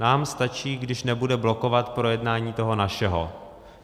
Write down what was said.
Nám stačí, když nebude blokovat projednání toho našeho.